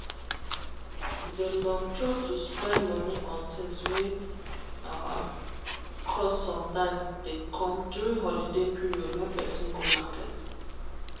the long throat to spend money on things wey cost sometimes dey come during holiday period wen person go market.